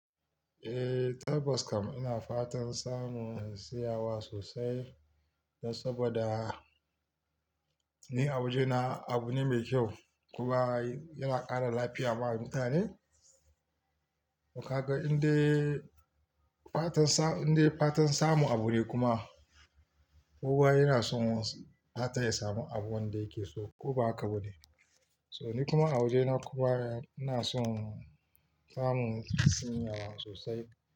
Eh, tabbas kam ina fatan samu in siyawa sosai, don saboda, ni a waje na abu ne mai kyau. Kuma yana ƙara lafiya ma mutane. Toh ka ga indai, fatan sa, inda fatan samu abu ne kuma kowa yana son fata ya samu abun wanda yake so ko ba haka ba ne? So ni kuma a waje na kuma ina son samu sanyawa sosai.